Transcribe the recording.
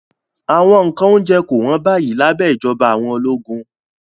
Awọn nkan ounjẹ ko won bayi labẹ ijọba awọn ologun